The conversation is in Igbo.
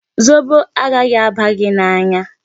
Zobo agaghị aba gị n'anya.